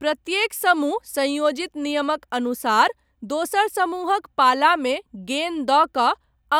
प्रत्येक समूह सँयोजित नियमक अनुसार दोसर समूहक पालामे गेन दऽ कऽ